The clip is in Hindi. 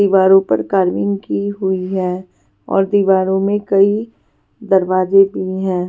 दीवारों पर कार्विंग की हुई है और दीवारों में कई दरवाजे भी हैं.